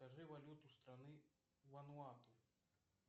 скажи валюту страны ван вату